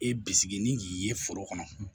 E bisigi ni k'i ye foro kɔnɔ